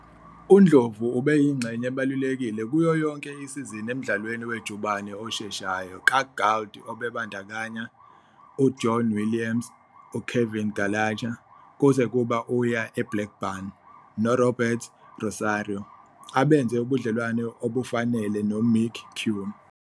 UNdlovu ubeyingxenye ebalulekile kuyo yonke isizini emdlalweni wejubane osheshayo kaGould obebandakanya uJohn Williams, uKevin Gallacher, kuze kube uya eBlackburn, noRobert Rosario, abenze ubudlelwano obufanele noMicky Quinn.